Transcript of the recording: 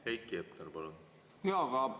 Heiki Hepner, palun!